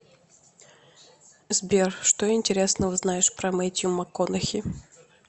сбер что интересного знаешь про метью макконахи